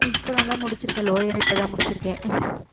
இப்பதான்க்கா முடிச்சிருக்கேன் lower ஏ இப்பதான் முடிச்சிருக்கேன்